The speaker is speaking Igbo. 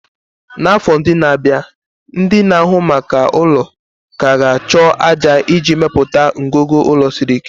n'afọ ndị na-abịa, ndị na-ahụ maka ụlọ ka ga-achọ ájá iji mepụta ngọngọ ụlọ siri ike.